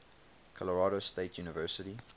colorado state university